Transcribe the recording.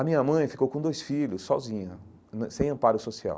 A minha mãe ficou com dois filhos, sozinha né, sem amparo social.